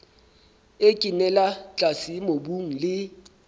e kenella tlase mobung le